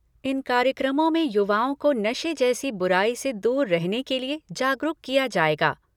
इन कार्यक्रमों में युवाओं को नशे जैसी बुराई से दूर रहने के लिए जागरूक किया जाएगा।